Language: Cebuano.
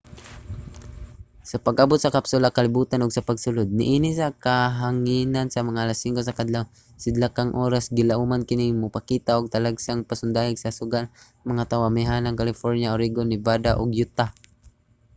sa pag-abot sa kapsula sa kalibotan ug sa pagsulod niini sa kahanginan sa mga alas 5 sa kaadlawon sidlakang oras gilauman kini nga mopakita og talagsaong pasundayag sa suga alang sa mga tawo sa amihanang california oregon nevada ug utah